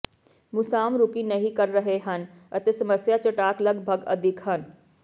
ਮੁਸਾਮ ਰੁੱਕੀ ਨਹੀ ਕਰ ਰਹੇ ਹਨ ਅਤੇ ਸਮੱਸਿਆ ਚਟਾਕ ਲਗਭਗ ਅਦਿੱਖ ਹਨ